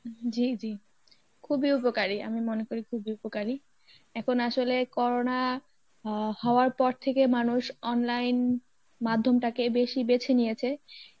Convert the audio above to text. জী জী খুবই উপকারী মনে করি খুবই উপকারী, এখন আসলে corona আহ হওয়ার পর থেকে মানুষ online মাধ্যমটাকে বেশি বেছে নিয়েছে